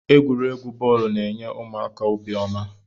Egwuregwu bọọlu n'enye ụmụaka obiọma.